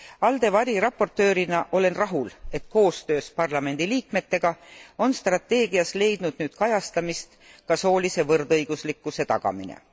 ALDE variraportöörina olen rahul, et koostöös parlamendiliikmetega on strateegias leidnud nüüd kajastamist ka soolise võrdõiguslikkuse tagamine.